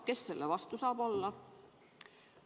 Kes selle vastu saab olla?